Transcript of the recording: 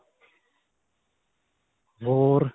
ਹੋਰ.